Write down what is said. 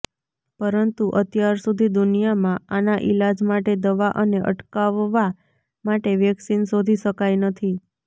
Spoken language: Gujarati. પરંતુ અત્યાર સુધી દુનિયામાં આના ઈલાજ માટે દવા અને અટકાવવા માટે વેક્સીન શોધી શકાઈ નથી